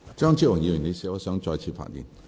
張超雄議員，你是否想再次發言？